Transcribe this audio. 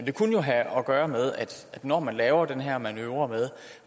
det kunne jo have at gøre med at når man laver den her manøvre med